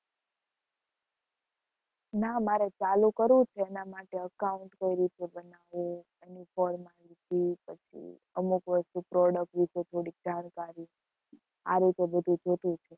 ના મારે ચાલુ કરવું છે એના માટે account કઈ રીતે બનાવવું એની formality પછી અમુક વસ્તુ product વિશે થોડીક જાણકારી આ રીતે બધુ જોતું છે.